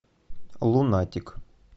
лунатик